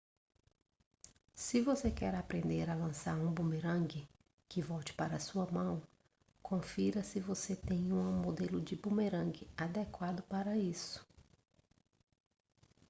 se você quer aprender a lançar um bumerangue que volte para sua mão confira se você tem um modelo de bumerangue adequado para isso